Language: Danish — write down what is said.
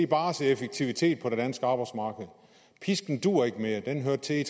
bare se effektivitet på det danske arbejdsmarked pisken duer ikke mere den hørte til i